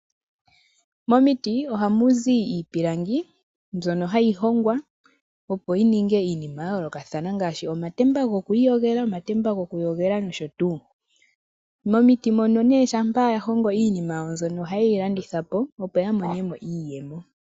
Momiti oha muzi iipilangi mbyono hayi hongwa opo yi ninge iinima ya yoolokathana ngaashi, omatemba go ku iiyogela, omatemba go ku yogela nosho tuu. Momiti mono ne shampa ya hongo iinima ya wo mbyono, oha ye yi landitha po, opo ya monemo iiyemo.